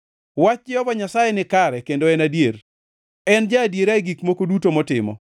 Wach Jehova Nyasaye nikare kendo en adier; en ja-adiera e gik moko duto motimo.